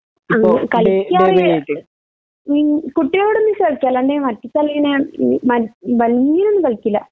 അങ്ങനെ കളിക്കാറില്ല നിങ് കുട്ടികളോട് ഒന്നിച്ച് കളിക്കും അല്ലാണ്ടെ ഭംഗിയിലൊന്നും കളിക്കൂല